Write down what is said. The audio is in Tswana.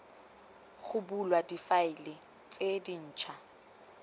ga bulwa difaele tse dintšhwa